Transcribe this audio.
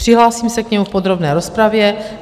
Přihlásím se k němu v podrobné rozpravě.